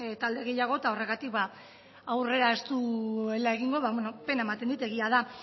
talde gehiago horregatik aurrea ez duela egingo pena ematen dit egia da